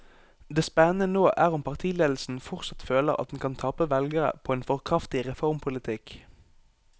Det spennende nå er om partiledelsen fortsatt føler at den kan tape velgere på en for kraftig reformpolitikk.